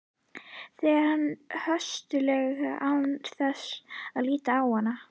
segir hann höstuglega án þess að líta á hana.